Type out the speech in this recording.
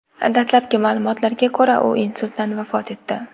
Dastlabki ma’lumotlarga ko‘ra, u insultdan vafot etdi.